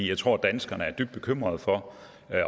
jeg tror danskerne er dybt bekymrede for